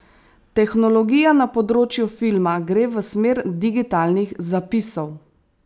Tehnologija na področju filma gre v smer digitalnih zapisov.